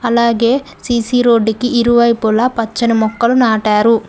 అలాగే C C road కి ఇరువైపులా పచ్చని మొక్కలు నాటారు.